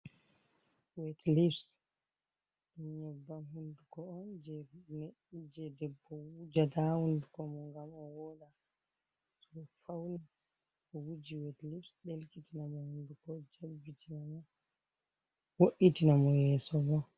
Wet leps ɗum nyeɓɓam hunduko on je ɗebbo wujata ha hunduko mon ngam o woɗa, to fauni o wuji wet leps ɗelkitina mo hunduko jelɓitina mo, wo’itina mo yesso bo.